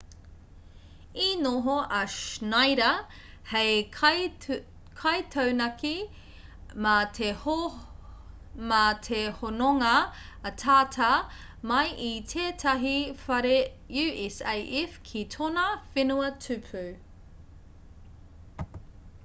i noho a schneider hei kaitaunaki mā te hononga ataata mai i tētahi whare usaf ki tōna whenua tupu